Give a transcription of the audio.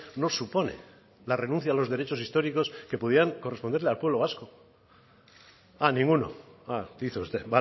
no supone la renuncia de los derechos históricos que pudieran corresponderle al pueblo vasco a ninguno dice usted